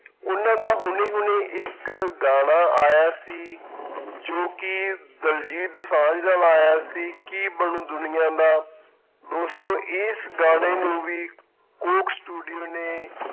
ਉਹਨਾਂ ਦਾ ਹੁਣੇ ਹੁਣੇ ਇੱਕ ਗਾਣਾ ਆਇਆ ਸੀ ਜੋ ਕਿ ਦਲਜੀਤ ਦੋਸਾਂਝ ਨਾਲ ਆਇਆ ਸੀ, ਕੀ ਬਣੂ ਦੁਨੀਆਂ ਦਾ, ਦੋਸਤੋ ਇਸ ਗਾਣੇ ਨੂੰ ਵੀ ਕੋਕ studio ਨੇ